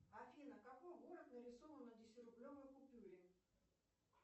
афина какой город нарисован на десятирублевой купюре